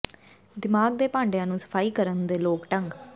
ਦਿਮਾਗ ਦੇ ਭਾਂਡਿਆਂ ਨੂੰ ਸਫਾਈ ਕਰਨ ਦੇ ਲੋਕ ਢੰਗ